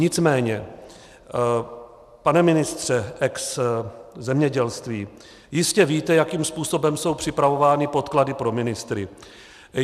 Nicméně, pane ministře ex zemědělství, jistě víte, jakým způsobem jsou připravovány podklady pro ministry.